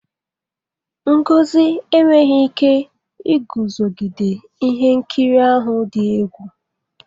Ngozi enweghị ike iguzogide ihe nkiri ahụ dị egwu.